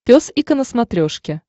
пес и ко на смотрешке